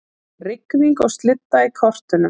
Rigning og slydda í kortunum